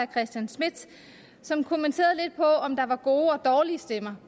christian schmidt som kommenterede på om der var gode og dårlige stemmer